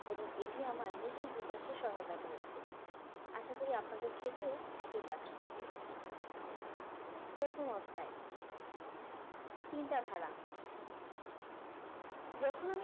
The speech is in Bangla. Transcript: এবং এটি আমার নিজের বিকাশে সহায়তা করেছে আশা করি আপনাদের ক্ষেত্রেও একই কাজ করবে প্রথম অধ্যায় চিন্তাধারা যখন